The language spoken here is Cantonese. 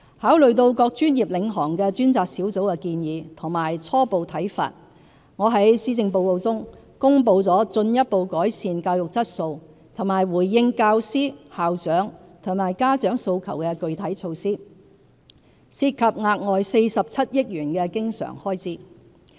考慮到各專業領航的專責小組的建議及初步看法，我在施政報告中公布了進一步改善教育質素和回應教師、校長和家長訴求的具體措施，涉及額外47億元經常開支。